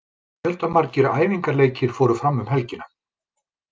Fjöldamargir æfingaleikir fóru fram um helgina.